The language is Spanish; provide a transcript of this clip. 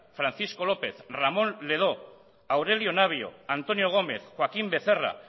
francisco lópez ramón ledó aurelio navio antonio gómez joaquín becerra